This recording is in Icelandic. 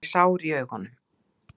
Hann er sár í augunum.